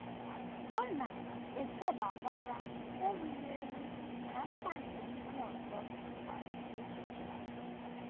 Ọ na - echebakwara erughị eru na mkpa nke ndị ọzọ echiche.